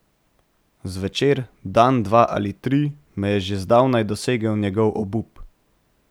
Zvečer, dan dva ali tri, me je že zdavnaj dosegel njegov obup.